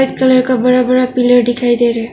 Black colour का बड़ा बड़ा पिलर दिखाई दे रहा है।